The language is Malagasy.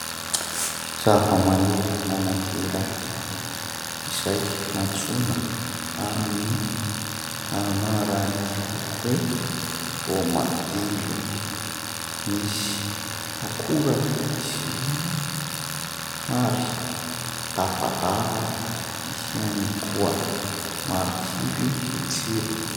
Zavamaniry anankiray izay antsoina amin'ny anarany hoe voamadilo. Misy akorany izy io ary lavalava ihany koa, marikivy ny tsirony.